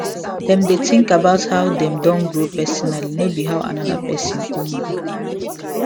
dem dey think about how dem don grow personally no be how another person own be